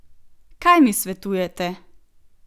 Kaj mi svetujete?